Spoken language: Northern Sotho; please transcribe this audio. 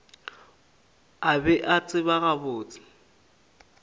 a be a tseba gabotse